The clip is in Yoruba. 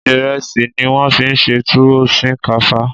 Ìrẹsì ni wọ́n fi ṣe túwó sìnkáfá.